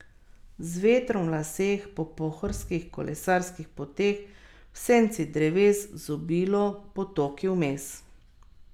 Z vetrom v laseh po pohorskih kolesarskih poteh, v senci dreves, z obilo potoki vmes.